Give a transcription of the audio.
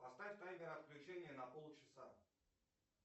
поставь таймер отключения на полчаса